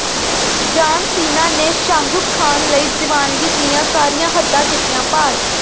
ਜਾਨ ਸੀਨਾ ਨੇ ਸ਼ਾਹਰੁਖ ਖਾਨ ਲਈ ਦੀਵਾਨਗੀ ਦੀਆਂ ਸਾਰੀਆਂ ਹੱਦਾਂ ਕੀਤੀਆਂ ਪਾਰ